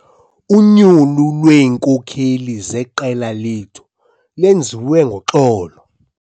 Unyulo lweenkokeli zeqela lethu lwenziwe ngoxolo.